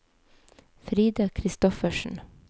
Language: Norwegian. Frida Christoffersen